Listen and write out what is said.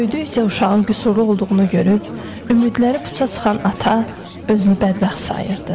Böyüdükcə uşağın qüsurlu olduğunu görüb, ümidləri puça çıxan ata özünü bədbəxt sayırdı.